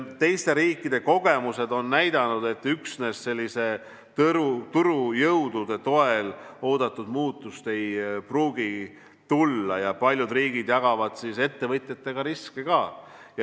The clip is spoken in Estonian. Teiste riikide kogemused on näidanud, et üksnes turujõudude toel oodatud muutust ei pruugi tulla, ja paljud riigid jagavad ettevõtjatega riske.